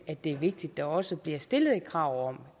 at det er vigtigt der også bliver stillet et krav om